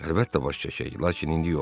Əlbəttə, baş çəkək, lakin indi yox.